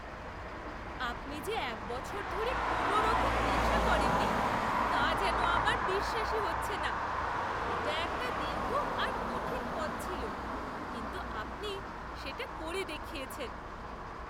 আপনি যে এক বছর ধরে কোনওরকম নেশা করেননি, তা যেন আমার বিশ্বাসই হচ্ছে না! এটা একটা দীর্ঘ আর কঠিন পথ ছিল, কিন্তু আপনি সেটা করে দেখিয়েছেন!